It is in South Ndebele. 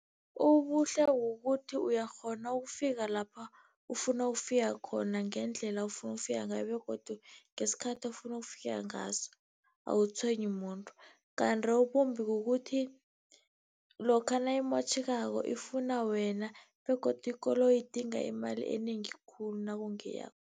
Ubuhle ukuthi uyakghona ukufika lapha, ufuna ukufika khona ngendlela ofuna ukufika ngayo begodu ngesikhathi ofuna ukufika ngaso, awutshwenyi muntu. Kanti okumbi kukuthi lokha nayimotjhekako, ifuna wena begodu ikoloyi idinga imali enengi khulu nakungeyakho.